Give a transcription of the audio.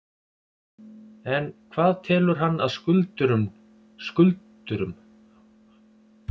En hvað telur hann að skuldurum finnist um þau?